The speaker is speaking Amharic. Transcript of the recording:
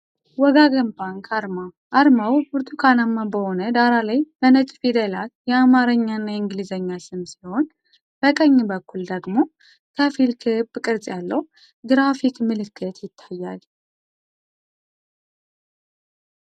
"ወጋገን ባንክ" አርማ። አርማው ብርቱካናማ በሆነ ዳራ ላይ በነጭ ፊደላት የአማርኛና የእንግሊዝኛ ስም ሲሆን፣ በቀኝ በኩል ደግሞ ከፊል ክብ ቅርጽ ያለው ግራፊክ ምልክት ይታያል።